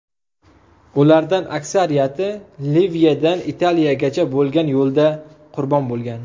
Ulardan aksariyati Liviyadan Italiyagacha bo‘lgan yo‘lda qurbon bo‘lgan.